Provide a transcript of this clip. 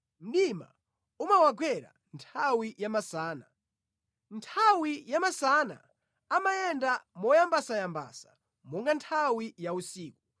Mdima umawagwera nthawi yamasana; nthawi yamasana amayenda moyambasayambasa monga nthawi ya usiku.